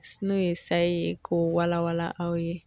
N'o ye sayi ye, k'o wala wala aw ye.